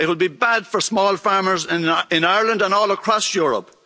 It will be bad for small farmers in Ireland and all across Europe.